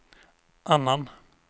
annan